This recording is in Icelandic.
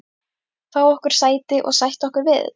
Fá okkur sæti og sætta okkur við þetta?